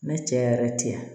Ne cɛ yɛrɛ ti yan